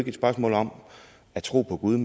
et spørgsmål om at tro på gud